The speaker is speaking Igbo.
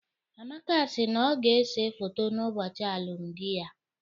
Amaka si na ọ ga-ese foto n'ụbọchị alụmdi ya.